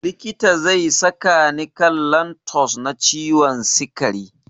Likita zai saka ni kan lantus na ciwon sikari.